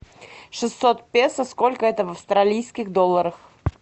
шестьсот песо сколько это в австралийских долларах